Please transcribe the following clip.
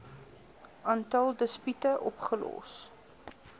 aantal dispute opgelos